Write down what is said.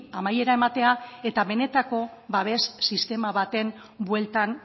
amaiera ematea eta benetako babes sistema baten bueltan